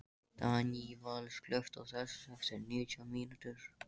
Í Berlín hefðuð þið hiklaust verið skotnir á staðnum.